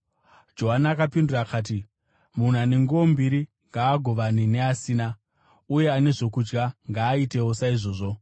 Johani akapindura akati, “Munhu ane nguo mbiri ngaagovane neasina, uye ane zvokudya ngaaitewo saizvozvo.”